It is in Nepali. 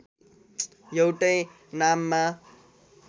एउटै नाममा